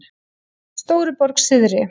Stóruborg syðri